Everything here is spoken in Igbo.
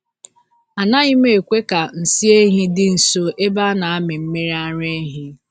Anaghị m ekwe ka nsị ehi dị nso ebe a na-amị mmiri ara ehi.